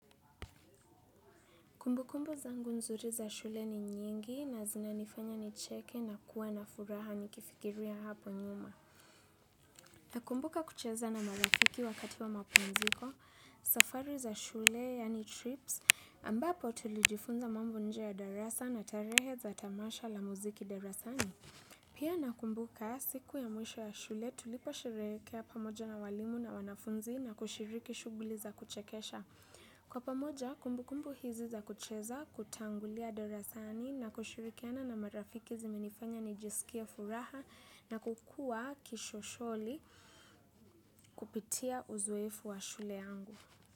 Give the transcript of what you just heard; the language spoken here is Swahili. Kumbukumbu zangu nzuri za shule ni nyingi na zinanifanya nicheke na kuwa na furaha nikifikiria hapo nyuma. Nakumbuka kucheza na marafiki wakati wa mapumziko, safari za shule yani trips ambapo tulijifunza mambo nje ya darasa na tarehe za tamasha la muziki darasani. Pia nakumbuka siku ya mwisho ya shule tulipo sherehekea pamoja na walimu na wanafunzi na kushiriki shughuli za kuchekesha. Kwa pamoja, kumbukumbu hizi za kucheza kutangulia darasani na kushirikiana na marafiki zimenifanya nijisikie furaha na kukuwa kishosholi kupitia uzoefu wa shule yangu.